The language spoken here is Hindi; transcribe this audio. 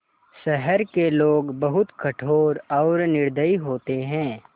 शहर के लोग बहुत कठोर और निर्दयी होते हैं